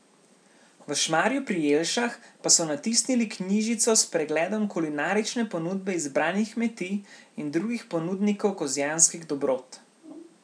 V Šmarju pri Jelšah pa so natisnili knjižico s pregledom kulinarične ponudbe izbranih kmetij in drugih ponudnikov kozjanskih dobrot.